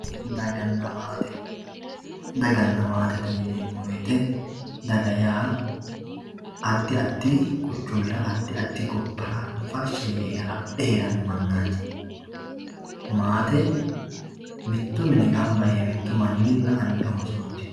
daganna maate daganna maatete yineemo woyiite daga yaa addi addi quchumira addi addi gobbara farshsha yee hala'le heeranno manaati maate mitto mine gamba yee mittu manninna anni oosooti.